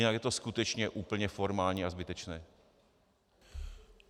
Jinak je to skutečně úplně formální a zbytečné.